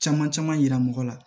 Caman caman yira mɔgɔ la